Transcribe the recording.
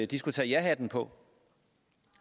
de skulle tage jahatten på